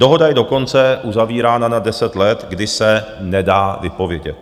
Dohoda je dokonce uzavírána na 10 let, kdy se nedá vypovědět.